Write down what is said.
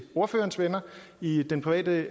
ordførerens venner i den private